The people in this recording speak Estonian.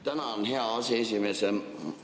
Tänan, hea aseesimees!